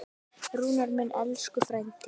Rúnar minn, elsku frændi.